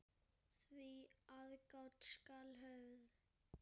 Því aðgát skal höfð.